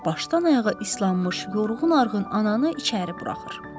Başdan ayağa islanmış, yorğun-arğın ananı içəri buraxır.